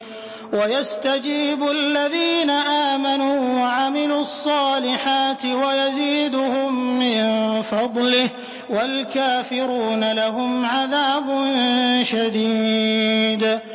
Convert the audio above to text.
وَيَسْتَجِيبُ الَّذِينَ آمَنُوا وَعَمِلُوا الصَّالِحَاتِ وَيَزِيدُهُم مِّن فَضْلِهِ ۚ وَالْكَافِرُونَ لَهُمْ عَذَابٌ شَدِيدٌ